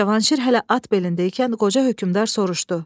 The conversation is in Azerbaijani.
Cavanşir hələ at belindəykən qoca hökmdar soruşdu.